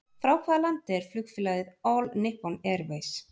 Frá hvaða landi er flugfélagið All Nippon Airways?